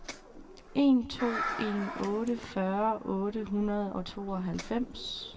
en to en otte fyrre otte hundrede og tooghalvfems